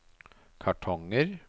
kartonger